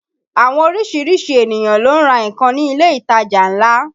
Àwọn orísìírísìí ènìyàn ló ń ra nǹkan ní ilé ìtajà ńlá